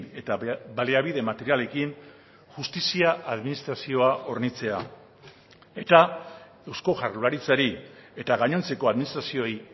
eta baliabide materialekin justizia administrazioa hornitzea eta eusko jaurlaritzari eta gainontzeko administrazioei